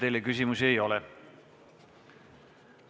Teile küsimusi ei ole.